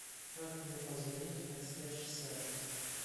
как мне позвонить в консьерж сервис